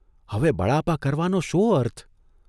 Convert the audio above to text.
હવે બળાપા કરવાનો શો અર્થ?